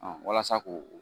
walasa k'o